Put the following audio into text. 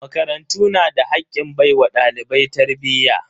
Makarantu na da hakkin baiwa dalibai tarbiyya.